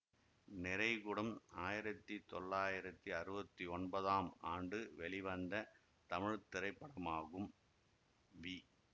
நிறைகுடம் ஆயிரத்தி தொள்ளாயிரத்தி அறுவத்தி ஒன்பதாம் ஆண்டு வெளிவந்த தமிழ் திரைப்படமாகும் வி